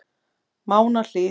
Mánahlíð